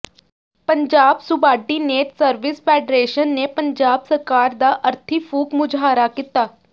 Punjab subordinate service federation ਨੇ ਪੰਜਾਬ ਸਰਕਾਰ ਦਾ ਅਰਥੀ ਫੂਕ ਮੁਜ਼ਾਹਰਾ ਕੀਤਾ